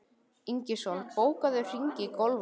Ingisól, bókaðu hring í golf á laugardaginn.